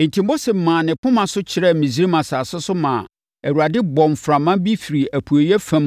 Enti Mose maa ne poma so kyerɛɛ Misraim asase so maa Awurade bɔɔ mframa bi firii apueeɛ fam